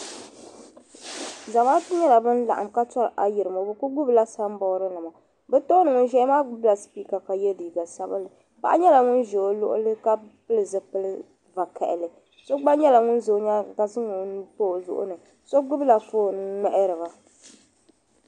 Zamaatu nyela ban laɣim ka tɔri ayirimo bɛ ku gbubila samboorinima bi tooni ŋun ʒiya maa gbubila sipiika ka ye liiga sabinli paɣa nyela ŋun ʒe o luɣuli ka pili zipili vakaɣali so gba nyela ŋun ʒe o nyaaŋa ka zaŋ o nuu pa o zuɣu ni so gbubi la fon n ŋmahiri ba.